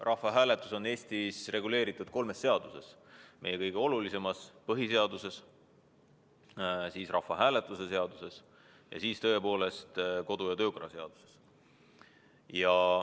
Rahvahääletus on Eestis reguleeritud kolmes seaduses: meie kõige olulisemas, põhiseaduses, samuti rahvahääletuse seaduses ning tõepoolest ka Riigikogu kodu- ja töökorra seaduses.